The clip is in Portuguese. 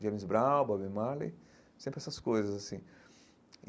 James Brown, Bob Marley, sempre essas coisas assim.